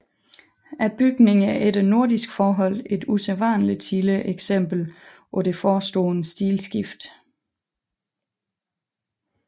Bygningen er efter nordiske forhold et usædvanligt tidligt eksempel på det forestående stilskift